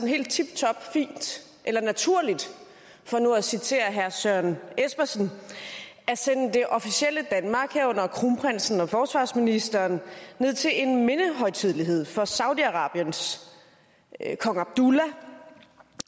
helt tiptop fint eller naturligt for nu at citere herre søren espersen at sende det officielle danmark herunder kronprinsen og forsvarsministeren ned til en mindehøjtidelighed for saudi arabiens kong abdullah